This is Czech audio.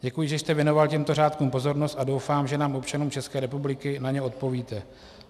Děkuji, že jste věnoval těmto řádkům pozornost, a doufám, že nám, občanům České republiky, na ně odpovíte.